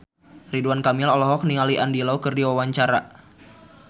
Ridwan Kamil olohok ningali Andy Lau keur diwawancara